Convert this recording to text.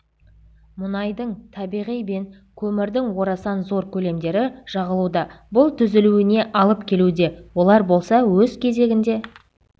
мұнайдың табиғи бен көмірдің орасан зор көлемдері жағылуда бұл түзілуіне алып келуде олар болса өз кезегінде